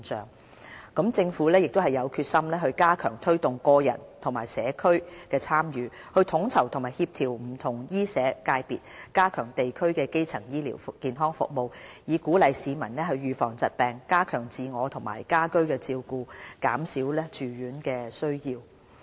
另一方面，政府也有決心加強推動個人和社區的參與，統籌和協調不同醫社界別，加強地區基層醫療服務，以鼓勵市民預防疾病，加強自我和家居照顧，減少住院需要。